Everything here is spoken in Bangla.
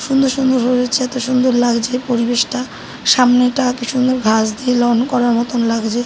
সুন্দর সুন্দর হয়েছে। এতো সুন্দর লাগছে পরিবেশটা। সামনেটা কি সুন্দর ঘাস দিয়ে লন করা মতোন লাগছে।